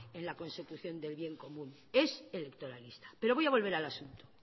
en la consecución del bien común es electoralista pero voy a volver al asunto